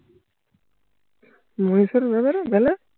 মিনিষার ব্যাপারে বেলা